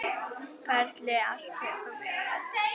Ferlið allt tekur mörg ár.